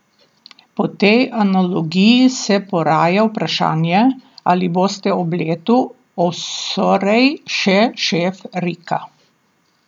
Po tej analogiji se poraja vprašanje, ali boste ob letu osorej še šef Rika?